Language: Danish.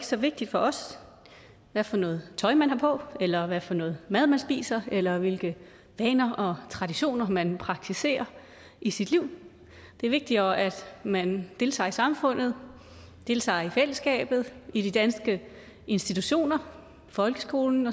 så vigtigt for os hvad for noget tøj man har på eller hvad for noget mad man spiser eller hvilke vaner og traditioner man praktiserer i sit liv det er vigtigere at man deltager i samfundet deltager i fællesskabet i de danske institutioner folkeskolen